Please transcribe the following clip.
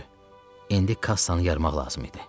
İndi kassanı yarmaq lazım idi.